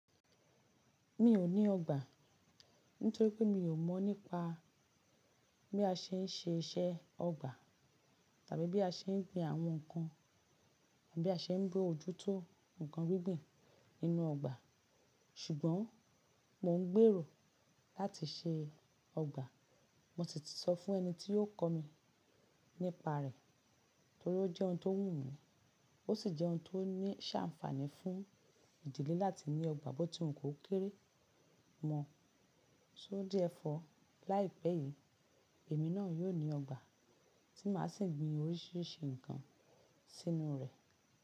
Mi ò ní ọgbà nítorí pé mi ò mọ̀ nípa bí a ṣe ń ṣe iṣẹ́ ọgbà tàbí bí a ṣe ń gbin àwọn nǹkan àbí a ṣe ń bu ojútó nǹkan gbígbìn nínú ọgbà ṣùgbọ́n mò ń gbèrò láti ṣe ọgbà. Mo sì ti sọ fún ẹni tí yóò kọ́ mi nípa rẹ̀ torí ó jẹ́ ohun tó wù mí, ó sì jẹ́ ohun tó ní ṣàǹfààní fún ìdílé láti ní ọgbà bó ti wọn kò kéré mọ̀. Só díẹ̀ ẹ́ fọ́ láìpẹ́ yìí, èmi náà yóò ní ọgbà tí màá sì gbin oríṣiríṣi nǹkan sínú rẹ̀.